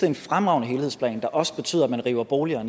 en fremragende helhedsplan der også betyder at man river boliger